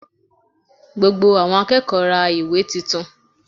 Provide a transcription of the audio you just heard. Gbogbo àwọn akẹ́kọ̀ọ́ ra ìwé tuntun